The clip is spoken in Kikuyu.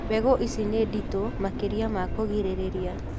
Mbegũ ici nĩ nditũ makĩria ma kũgirĩrĩria